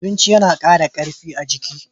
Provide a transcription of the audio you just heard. Abinchi yana kara karfi a jiki.